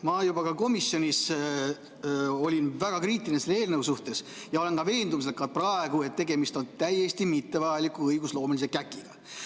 Ma juba komisjonis olin väga kriitiline selle eelnõu suhtes ja olen ka praegu veendumusel, et tegemist on täiesti mittevajaliku õigusloomelise käkiga.